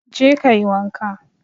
Go and bath